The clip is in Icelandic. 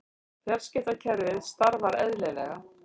Fjarskiptakerfið starfar eðlilega